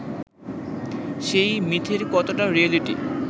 সেই মিথের কতটা রিয়ালিটি